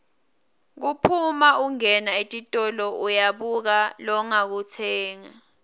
kuphuma ungena etitolo uyabuka longakutsenga